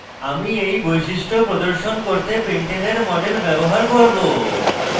আমি এই বৈশিষ্ট্য প্রদর্শন করতে pentane model ব্যবহার করব